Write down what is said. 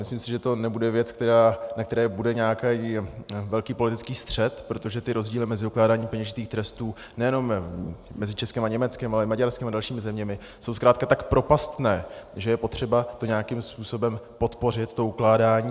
Myslím si, že to nebude věc, ve které bude nějaký velký politický střet, protože ty rozdíly mezi ukládáním peněžitých trestů nejenom mezi Českem a Německem, ale i Maďarskem a dalšími zeměmi jsou zkrátka tak propastné, že je potřeba to nějakým způsobem podpořit, to ukládání.